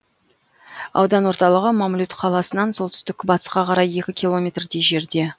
аудан орталығы мамлют қаласынан солтүстік батысқа қарай екі километрдей жерде